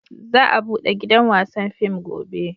Za a bude gidan wasan fim gobe